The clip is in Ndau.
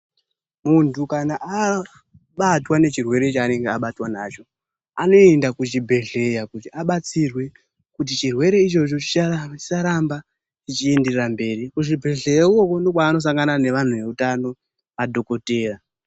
Muntu kana abatwa nechirwere chaanenge abatwa nacho anoenda kuchibhedhlera kuti abatsirwe kuti chirwere ichocho chisaramba chichienda mberi. Kuchibhedhlera ikoko ndiko kwaanosangana nevantu veutano madhogodheya.